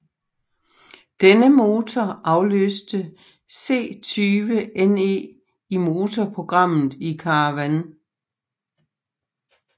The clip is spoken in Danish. Denne motor afløste C20NE i motorprogrammet i Caravan